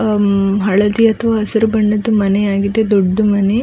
ಆಹ್ಹ್ ಹಳದಿ ಅಥವಾ ಹಸಿರು ಬಣ್ಣದ್ದು ಮನೆ ಆಗಿದೆ ದೊಡ್ಡು ಮನೆ .